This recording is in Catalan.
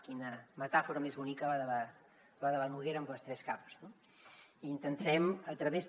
quina metàfora més bonica la de la noguera amb les tres capes no intentarem a través també